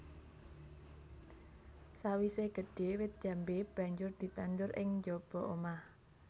Sawisé gedhé wit jambé banjur ditandur ing njaba omah